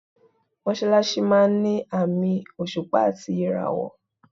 Mọ́ṣálásí máa ń ni àmì òṣùpá àti ìràwọ̀.